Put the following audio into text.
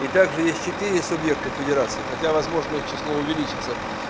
и также есть четыре субъекта федерации хотя возможно их число увеличится